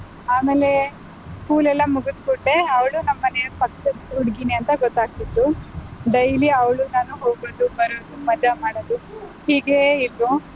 ಆಮೇಲೆ school ಎಲ್ಲಾ ಮುಗಿದ್ ಕೂಡ್ಲೆ ಅವ್ಳು ನಮ್ಮ್ ಮನೆಯ ಪಕ್ಕದ್ ಹುಡ್ಗಿನೇಂತ ಗೊತ್ತಾಗ್ತಿತ್ತು daily ಅವ್ಳು ನಾನು ಹೋಗೋದು ಬರೋದು ಮಜಾ ಮಾಡೋದು ಹೀಗೇ ಇದ್ವು.